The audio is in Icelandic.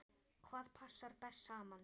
Hvað passar best saman?